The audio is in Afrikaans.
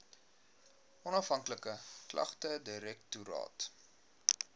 onafhanklike klagtedirektoraat